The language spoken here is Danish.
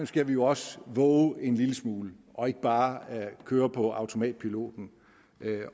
skal vi jo også vove en lille smule og ikke bare køre på automatpiloten